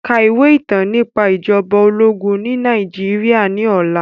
Ka ìwé ìtàn nípa ìjọba ológun ní Nàìjíríà ní ọ̀la